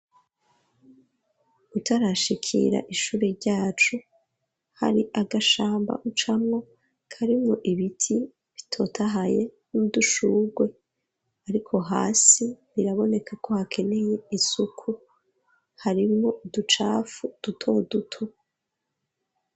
Utarashikira ishuri ryacu hari agashamba ucamwo karimwo ibiti bitotahaye n'udushurwe, ariko hasi birabonekako hakeneye isuku harimwo uducafu duto duto.